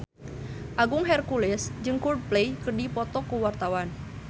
Agung Hercules jeung Coldplay keur dipoto ku wartawan